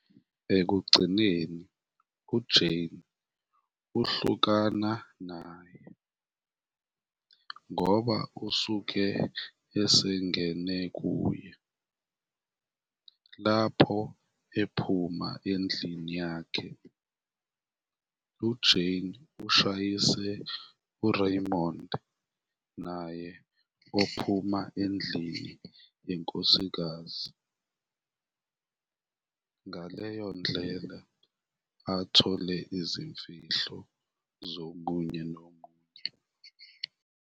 Ekugcineni uJay uhlukana naye, ngoba usuke esengene kuye, lapho ephuma endlini yakhe, uJay ushayisa uRaymond, naye ophuma endlini yenkosikazi, ngaleyo ndlela athole izimfihlo zomunye nomunye.